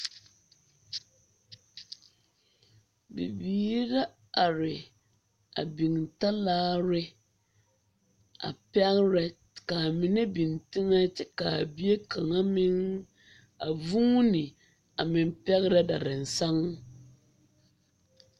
Bibiiri la are a biŋ talaare a pɛgrɛ ka a mine biŋ teŋɛ kyɛ ka a bie de kaŋa meŋ a vuuni a meŋ pɛgrɛ darasaŋ.